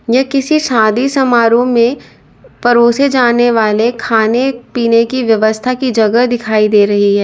यह किसी शादी समारोह में परोसे जाने वाले खाने पीने की व्यवस्था की जगह दिखाई दे रही है।